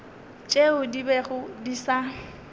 tšeo di bego di sa